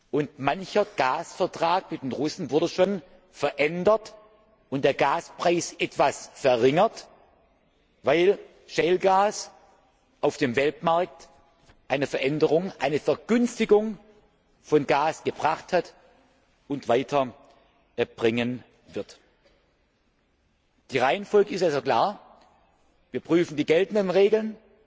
Und mancher Gasvertrag mit den Russen wurde schon verändert und der Gaspreis etwas verringert, weil Shale Gas auf dem Weltmarkt eine Veränderung, eine Vergünstigung von Gas gebracht hat und weiter bringen wird. Die Reihenfolge ist also klar Wir prüfen die geltenden Regeln